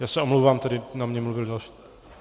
Já se omlouvám, tady na mě mluvil další.